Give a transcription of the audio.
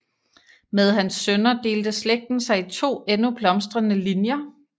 Med hans sønner delte slægten sig i to endnu blomstrende linjer